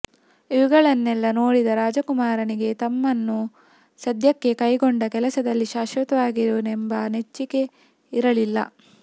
ಇವುಗಳನ್ನೆಲ್ಲಾ ನೋಡಿದ ರಾಮಕುಮಾರನಿಗೆ ತಮ್ಮನು ಸದ್ಯಕ್ಕೆ ಕೈಕೊಂಡ ಕೆಲಸದಲ್ಲಿ ಶಾಶ್ವತವಾಗಿರುವನೆಂಬ ನೆಚ್ಚಿಕೆ ಇರಲಿಲ್ಲ